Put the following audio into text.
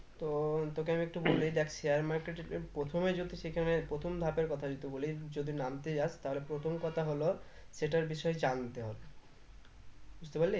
তো তোকে আমি একটু বলি দেখ share market এর প্রে প্রথমে যদি সেখানে প্রথম ধাপের কথা যদি বলিস যদি নামতে যাস তাহলে প্রথম কথা হলো সেটার বিষয় জানতে হবে বুঝতে পারলি